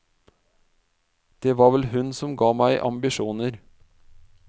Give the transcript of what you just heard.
Det var vel hun som ga meg ambisjoner.